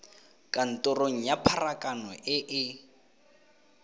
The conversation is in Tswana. kantorong ya pharakano e e